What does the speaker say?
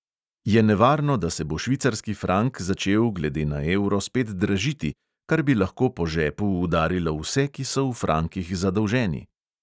Je nevarno, da se bo švicarski frank začel glede na evro spet dražiti, kar bi lahko po žepu udarilo vse, ki so v frankih zadolženi?